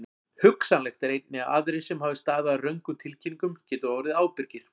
Hugsanlegt er einnig að aðrir sem hafa staðið að röngum tilkynningum geti orðið ábyrgir.